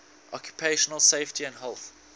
occupational safety and health